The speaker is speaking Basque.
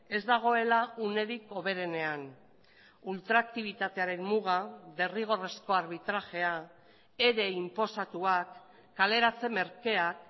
ez dagoela unerik hoberenean ultraktibitatearen muga derrigorrezko arbitrajea ere inposatuak kaleratze merkeak